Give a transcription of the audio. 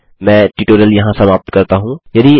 मैं ट्यूटोरियल यहाँ समाप्त करता हूँ